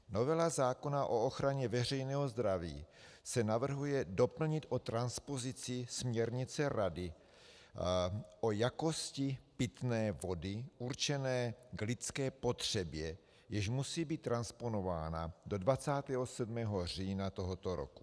Novela zákona o ochraně veřejného zdraví se navrhuje doplnit o transpozici směrnice Rady o jakosti pitné vody určené k lidské potřebě, jež musí být transponována do 27. října tohoto roku.